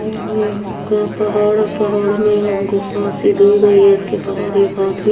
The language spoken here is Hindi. यह एक प पहाड़ है पहाड़ में गुफा सी दी गई है उसके बहार एक आदमी --